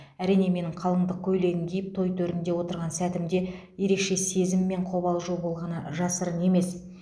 әрине менің қалыңдық көйлегін киіп той төрінде отырған сәтімде ерекше сезім мен қобалжу болғаны жасырын емес